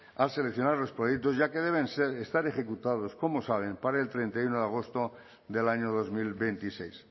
al seleccionar los proyectos ya que deben estar ejecutados como saben para el treinta y uno de agosto del año dos mil veintiséis